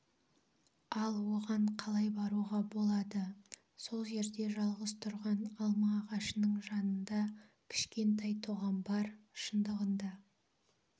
ал оған қалай баруға болады сол жерде жалғыз тұрған алма ағашының жанында кішкентай тоған бар шындығында